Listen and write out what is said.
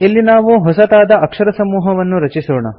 ಇಲ್ಲಿ ನಾವು ಹೊಸತಾದ ಅಕ್ಷರಸಮೂಹವನ್ನು ರಚಿಸೋಣ